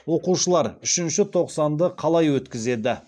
оқушылар үшінші тоқсанды қалай өткізеді